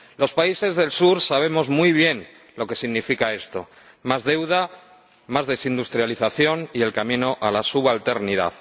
Los países del sur sabemos muy bien lo que significa esto más deuda, más desindustrialización y el camino a la subalternidad.